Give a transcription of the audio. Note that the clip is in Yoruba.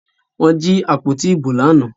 Wọ́n jí àpótí ìbò lánàá